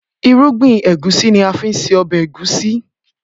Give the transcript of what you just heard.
Irúgbìn Ẹ̀gúsí ni a fi ń se ọbẹ̀ ẹ̀gúnsí